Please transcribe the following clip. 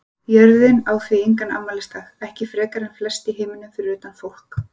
Jörðin á því engan afmælisdag, ekki frekar en flest í heiminum fyrir utan fólk.